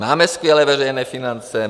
Máme skvělé veřejné finance.